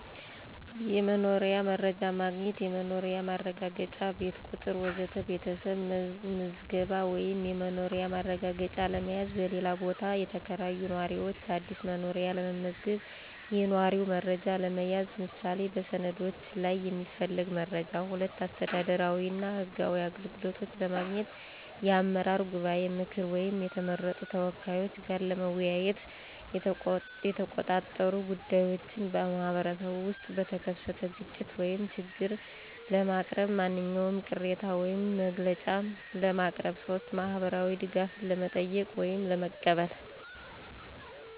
1. የመኖሪያ መረጃ ማግኘት (የመኖሪያ ማረጋገጫ፣ ቤት ቁጥር ወዘተ) ቤተሰብ መዝገብ ወይም የመኖሪያ ማረጋገጫ ለመያዝ፣ በሌላ ቦታ የተከራዩ ነዋሪዎች አዲስ መኖሪያ ለመመዝገብ፣ የነዋሪ መረጃ ለመያዝ (ምሳሌ በሰነዶች ላይ የሚፈለግ መረጃ)። 2. አስተዳደራዊ እና ህጋዊ አገልግሎቶች ለማግኘት የአመራር ጉባኤ ምክር ወይም የተመረጡ ተወካዮች ጋር ለመወያየት፣ የተቆጣጠሩ ጉዳዮችን (በማኅበረሰብ ውስጥ በተከሰተ ግጭት ወይም ችግር) ለማቅረብ፣ ማንኛውም ቅሬታ ወይም መግለጫ ለማቅረብ። 3. ማህበራዊ ድጋፍን ለመጠየቅ ወይም ለመቀበል